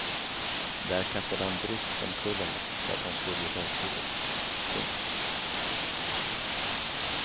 Där kastade han bryskt omkull henne så att hon slog i bakhuvudet. punkt